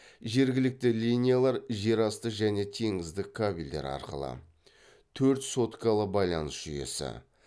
жергілікті линиялар жер асты және теңіздік кабелдер арқылы төрт соткалы байланыс жүйесі